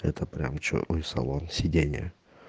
это прямо чёрный салон сиденья